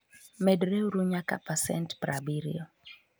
medreuru nyaka pasent 70